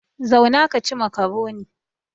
Zauna ka ci makaroni!